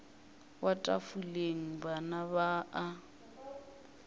wa tafoleng bana ba a